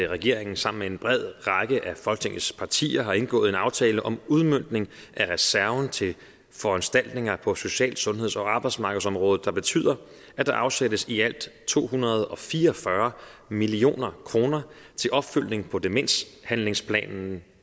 regeringen sammen med en bred række af folketingets partier har indgået en aftale om en udmøntning af reserven til foranstaltninger på social sundheds og arbejdsmarkedsområdet der betyder at der afsættes i alt to hundrede og fire og fyrre million kroner til opfølgning på demenshandlingsplanen